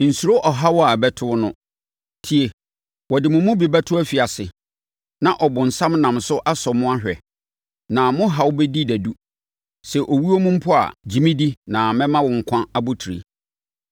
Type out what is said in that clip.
Nsuro ɔhaw a ɛrebɛto wo no. Tie! Wɔde mo mu bi bɛto afiase na ɔbonsam nam so asɔ mo ahwɛ. Na mo haw bɛdi dadu. Sɛ owuo mu mpo a, gye me di na mɛma wo nkwa abotire.